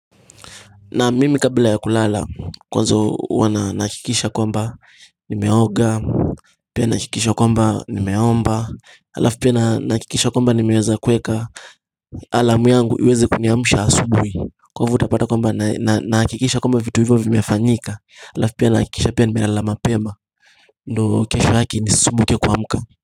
Na mimi kabla ya kulala kwanza huwa na nakikisha kwamba nimeoga Pia nakikisha kwamba nimeomba alaf pia nakikisha kwamba nimeweza kuweka alamu yangu iweze kuniamusha asubui kwa hivo utapata kwamba nakikisha kwamba vitu hivyo vimefanyika alaf pia nakikisha pia nimelala mapema ndo kesho haki ni sisumbuke kuamka.